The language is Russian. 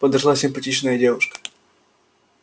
подошла симпатичная девушка